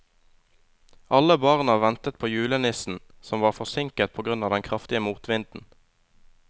Alle barna ventet på julenissen, som var forsinket på grunn av den kraftige motvinden.